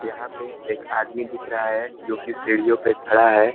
यहाँ पे एक आदमी दिख रहा है जोकि सीढ़ियों पे खड़ा है।